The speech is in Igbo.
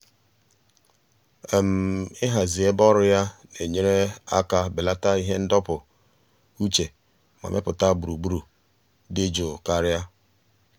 ịhazi um ebe ọrụ ya na-enyere aka belata ihe ndọpụ um uche ma mepụta gburugburu dị jụụ karịa.